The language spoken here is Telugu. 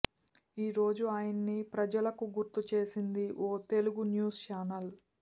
ఈ రోజు ఆయన్ని ప్రజలకు గుర్తు చేసింది ఓ తెలుగు న్యూస్ ఛానెల్